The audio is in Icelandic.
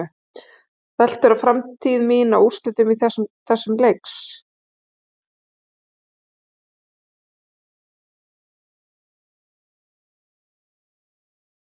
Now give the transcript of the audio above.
Veltur framtíð mín á úrslitum þessa leiks?